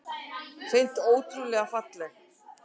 Hreint ótrúlega falleg